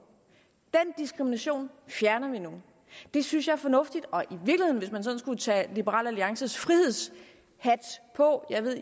den diskrimination fjerner vi nu det synes jeg er fornuftigt hvis man skulle tage liberal alliances frihedshat på jeg ved